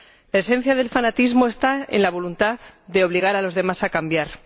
La esencia del fanatismo está en la voluntad de obligar a los demás a cambiar.